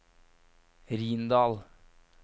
Rindal